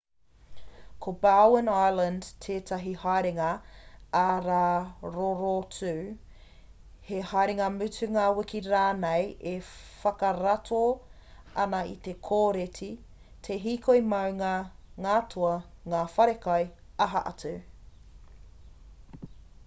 ko bowen island tētahi haerenga ā-rā rorotu he haerenga mutunga wiki rānei e whakarato ana i te kōreti te hīkoi maunga ngā toa ngā whare kai aha atu